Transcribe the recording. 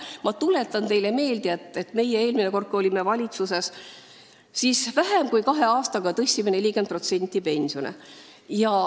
Ma tuletan teile meelde, et kui me eelmine kord olime valitsuses, siis vähem kui kahe aastaga tõstsime pensione 40%.